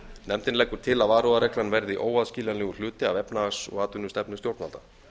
nefndin leggur til að varúðarreglan verði óaðskiljanlegur hluti af efnahags og atvinnustefnu stjórnvalda